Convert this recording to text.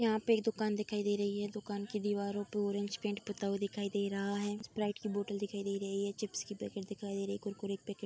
यहाँ पे एक दुकान दिखाई रही है। दुकान की दीवारों पे ऑरेंज पेंट पुता हुआ दिखाई दे रहा है। स्प्राइट की बोटल दिखाई दे रही है। चिप्स की पैकेट दिखाई दे रही है। कुरकुरे की पैकेट --